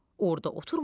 Orda oturma.